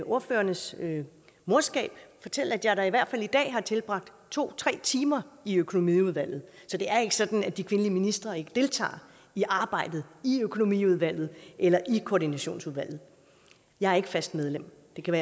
ordførernes morskab fortælle at jeg da i hvert fald i dag har tilbragt to tre timer i økonomiudvalget så det er ikke sådan at de kvindelige ministre ikke deltager i arbejdet i økonomiudvalget eller i koordinationsudvalget jeg er ikke fast medlem